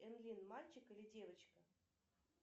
энлин мальчик или девочка